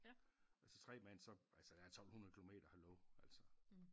Altså tre mand så altså der er 1200 kilometer hallo altså